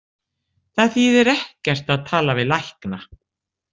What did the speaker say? Það þýðir ekkert að tala við lækna.